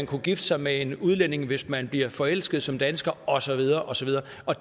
kunne gifte sig med en udlænding hvis man bliver forelsket som dansker og så videre og så videre